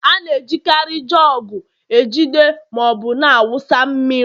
A na-ejikarị jugu ejide ma ọ bụ na-awụsa mmiri mmiri.